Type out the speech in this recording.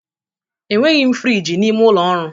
Enweghi m friji n'ime ụlọ ọrụ.